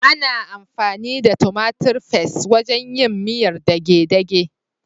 Ana amfani da tumatir fas (tomato paste) wajen yin miyar dage-dage.